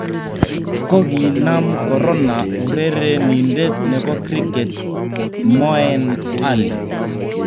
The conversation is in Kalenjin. Kokinaam korona urerenindet nebo kriket Moeen Ali